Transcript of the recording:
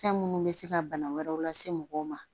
Fɛn minnu bɛ se ka bana wɛrɛw lase mɔgɔw ma